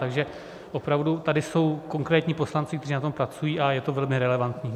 Takže opravdu tady jsou konkrétní poslanci, kteří na tom pracují, a je to velmi relevantní.